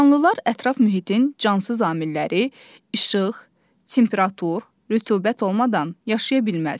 Canlılar ətraf mühitin cansız amilləri - işıq, temperatur, rütubət olmadan yaşaya bilməz.